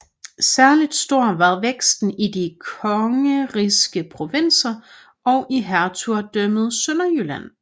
Særlig stor var væksten i de kongerigske provinser og i hertugdømmet Sønderjylland